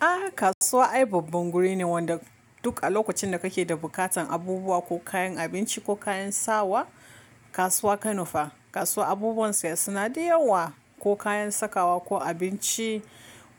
A kasuwa ai babban guri ne wanda duk a lokacin da kake da bukatan abubuwa ko kayan abinci ko kayan sawa kasuwa ka nufa. Kasuwa abubuwan saya suna da yawa ko kayan sakawa ko abinci